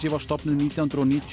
var stofnuð nítján hundruð og níutíu